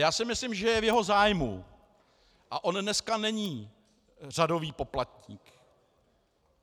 Já si myslím, že je v jeho zájmu - a on dneska není řadový poplatník.